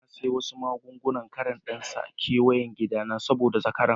Na siya wasu magun-gunan kwari dan n'sa keweyen gida na saboda zakarai.